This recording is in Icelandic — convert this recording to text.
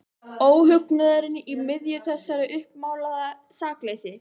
Óhugnaðurinn í miðju þessu uppmálaða sakleysi.